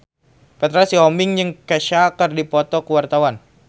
Petra Sihombing jeung Kesha keur dipoto ku wartawan